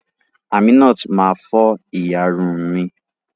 Aminat ma fọ ìyárún mi.